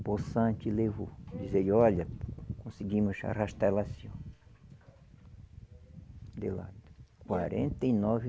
Possante levou e disse, olha, conseguimos arrastar ela assim ó, de lado. Quarenta e nove